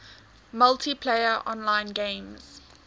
multiplayer online games